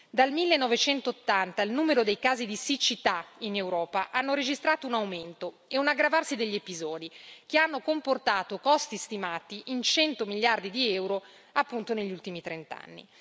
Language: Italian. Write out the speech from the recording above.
Dal 1980 il numero dei casi di siccità in Europa ha registrato un aumento e un aggravarsi degli episodi che hanno comportato costi stimati in 100 miliardi di euro, appunto, negli ultimi trent'anni.